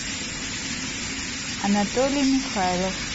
анатолий михайлов